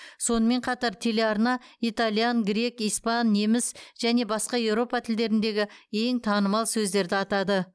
сонымен қатар телеарна итальян грек испан неміс және басқа еуропа тілдеріндегі ең танымал сөздерді атады